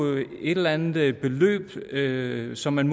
et eller andet beløb i øre som man